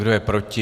Kdo je proti?